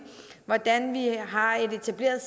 hvordan vi har et etableret